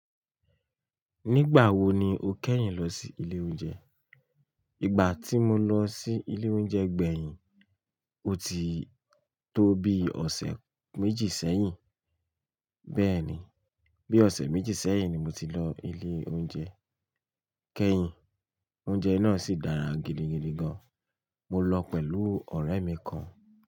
Nígbà wo ni o kẹ́yìn lọ sí ilé oúnjẹ? Ìgbà tí mo lọ sí ilé oúnjẹ gbẹ̀yìn, ó ti tó bí ọ̀sẹ̀ méjì sẹ́yìn. Bẹ́ẹ̀ni, bí ọ̀sẹ̀ méjì sẹ́yìn ni mo ti lọ ilé oúnjẹ kẹ́yìn. Oúnjẹ náà sì dára gidigidi gan. Mo lọ pẹ̀lú ọ̀rẹ́ mi kan.